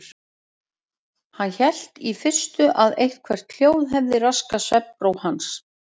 Hann hélt í fyrstu að eitthvert hljóð hefði raskað svefnró hans.